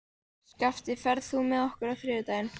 Skafti, ferð þú með okkur á þriðjudaginn?